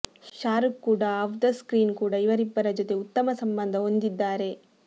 ಶಾರುಖ್ ಕೂಡಾ off the screen ಕೂಡಾ ಇವರಿಬ್ಬರ ಜೊತೆ ಉತ್ತಮ ಸಂಬಂಧ ಹೊಂದಿದ್ದಾರೆ